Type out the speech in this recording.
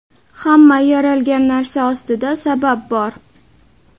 hamma yaralgan narsa ostida sabab bor.